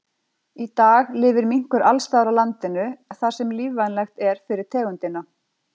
Í dag lifir minkur alls staðar á landinu þar sem lífvænlegt er fyrir tegundina.